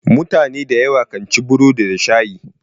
Mutune da yawa kan ci burodi da shayi.